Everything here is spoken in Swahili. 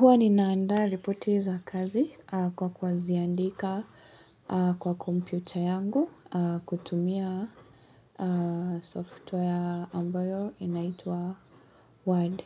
Huwa ninaandaa ripoti za kazi kwa kuziandika kwa komputa yangu kutumia software ambayo inaitwa Word.